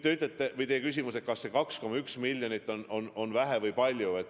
Te küsite, kas see 2,1 miljonit on vähe või palju.